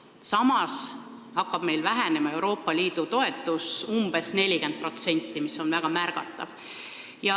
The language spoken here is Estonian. Samas hakkab umbes 40% vähenema Euroopa Liidu toetus, mis on väga märgatav.